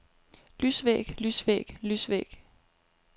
lysvæg lysvæg lysvæg